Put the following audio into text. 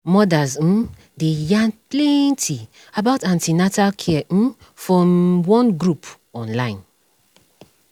mothers um dey yarn plenty about an ten atal care um for um one group on online